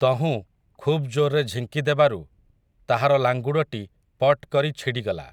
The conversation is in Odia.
ତହୁଁ, ଖୁବ୍ ଜୋରରେ ଝିଙ୍କିଦେବାରୁ, ତାହାର ଲାଙ୍ଗୁଡ଼ଟି, ପଟ୍ କରି ଛିଡ଼ିଗଲା ।